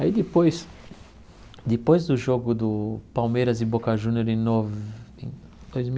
Aí depois, depois do jogo do Palmeiras e Boca Júnior em Nove, em dois mil